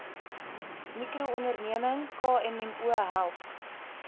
mikroonderneming kmmo help